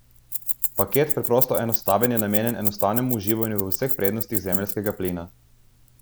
Paket Preprosto enostaven je namenjen enostavnemu uživanju v vseh prednostih zemeljskega plina.